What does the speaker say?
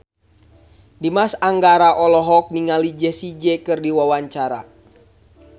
Dimas Anggara olohok ningali Jessie J keur diwawancara